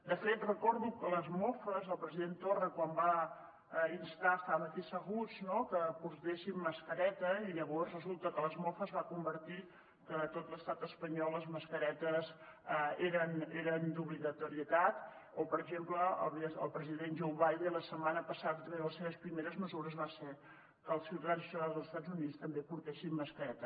de fet recordo les mofes al president torra quan va instar estàvem aquí asseguts no que portéssim mascareta i llavors resulta que les mofes es van convertir a tot l’estat espanyol que les mascaretes eren d’obligatorietat o per exemple el president joe biden la setmana passada també una de les seves primeres mesures va ser que els ciutadans i ciutadanes dels estats units també portessin mascareta